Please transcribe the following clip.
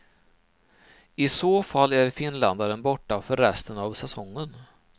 I så fall är finländaren borta för resten av säsongen.